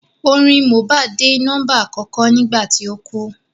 Orin Mohbad dé nọ́mbà àkọ́kọ́ nígbà tí ó kú